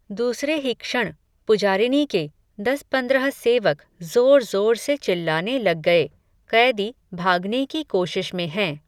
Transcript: दूसरे ही क्षण, पुजारिनी के, दसपंद्रह सेवक, ज़ोर ज़ोर से चिल्लाने लग गये, क़ैदी, भागने की कोशिश में हैं